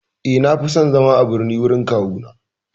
Eh, Na fi son zama a birni gurin kawuna.